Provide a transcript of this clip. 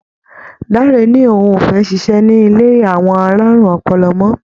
Dáre ni òun ò fẹ́ ṣiṣẹ́ ní ilé àwọn alárùn ọpọlọ mọ́.